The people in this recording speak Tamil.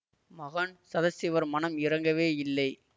மகான் சதாசிவர் மனம் இரங்கவே இல்லை